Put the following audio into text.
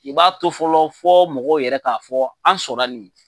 I b'a to fɔlɔ fɔ mɔgɔw yɛrɛ k'a fɔ fɔlɔ, an sɔnna nin ye.